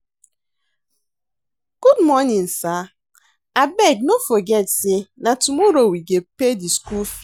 Good morning sir, abeg no forget sey na tomorrow we go pay di skool fees.